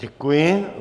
Děkuji.